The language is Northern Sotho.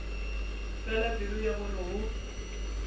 fela pelo ya gore go